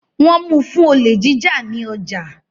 Wọ́n mu fún olè jíjà ní ọjà